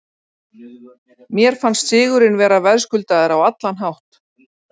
Mér fannst sigurinn vera verðskuldaður á allan hátt.